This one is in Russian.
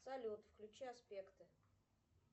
салют включи аспекты